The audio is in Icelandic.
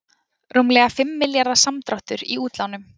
Rúmlega fimm milljarða samdráttur í útlánum